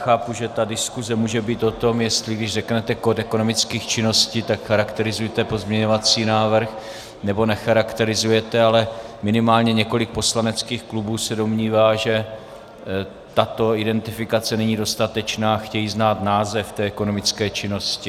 Chápu, že ta diskuse může být o tom, jestli když řeknete kód ekonomických činností, tak chrakterizujete pozměňovací návrh, nebo necharakterizujete, ale minimálně několik poslaneckých klubů se domnívá, že tato identifikace není dostatečná, chtějí znát název té ekonomické činnosti.